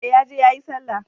E, ya je yayi Sallah.